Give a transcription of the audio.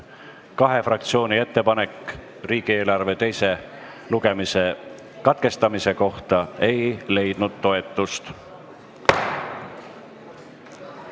Kahe fraktsiooni ettepanek riigieelarve eelnõu teise lugemise katkestamise kohta ei leidnud toetust.